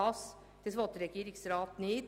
Das will der Regierungsrat nicht.